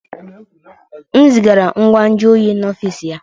M zigara ngwa nju oyi n'ọfịs ya